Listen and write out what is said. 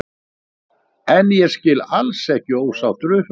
En ég skil alls ekki ósáttur við Fram.